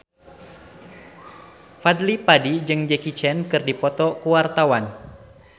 Fadly Padi jeung Jackie Chan keur dipoto ku wartawan